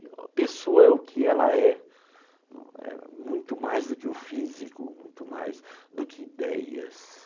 A pessoa é o que ela é, muito mais do que o físico, muito mais do que ideias.